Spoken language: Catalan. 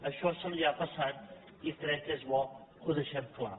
això se li ha passat i crec que és bo que ho deixem clar